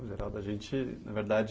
No geral da gente, na verdade,